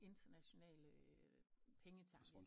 Internationale pengetanke